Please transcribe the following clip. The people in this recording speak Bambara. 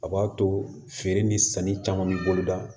A b'a to feere ni sanni caman bi boloda